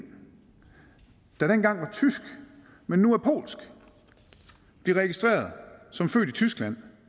der engang var tysk men nu er polsk blive registreret som født i tyskland